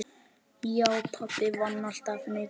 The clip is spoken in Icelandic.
Já, pabbi vann alltaf mikið.